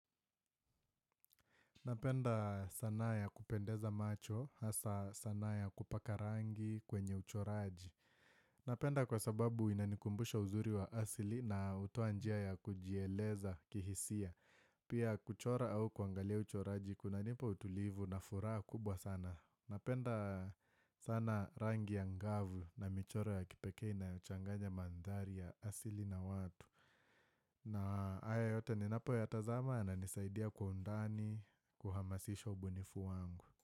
Napenda sanaa ya kupendeza macho, hasa sanaa ya kupaka rangi kwenye uchoraji. Napenda kwa sababu inanikumbusha uzuri wa asili na hutoa njia ya kujieleza kihisia. Pia kuchora au kuangalia uchoraji kunanipa utulivu na furaha kubwa sana. Napenda sana rangi ya ngavu na michoro ya kipekee na huchanganya mandhari ya asili na watu. Na haya yote ninapo yatazama yana nisaidia kwa undani kuhamasisha ubunifu wangu.